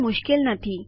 તે ખુબ સરળ પ્રક્રિયા છે